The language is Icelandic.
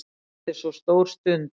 Þetta er svo stór stund.